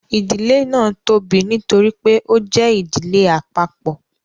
idile náa tóbi nítorí pé o jẹ ìdílé àpapọ